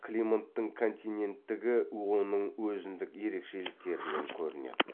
климаттың континенттігі оның өзіндік ерекшеліктерінен көрінеді